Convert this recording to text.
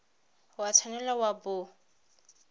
o a tshwanela wa bo